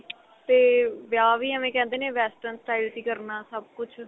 ਤੇ ਵਿਆਹ ਵੀ ਐਵੇਂ ਕਹਿੰਦੇ ਨੇ western style ਚ ਈ ਕਰਨਾ ਸਭ ਕੁੱਝ